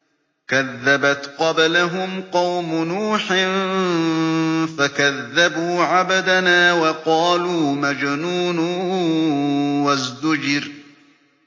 ۞ كَذَّبَتْ قَبْلَهُمْ قَوْمُ نُوحٍ فَكَذَّبُوا عَبْدَنَا وَقَالُوا مَجْنُونٌ وَازْدُجِرَ